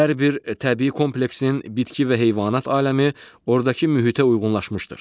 Hər bir təbii kompleksin bitki və heyvanat aləmi ordakı mühitə uyğunlaşmışdır.